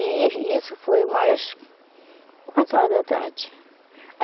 E isso foi umas quatro horas da tarde.